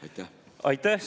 Aitäh!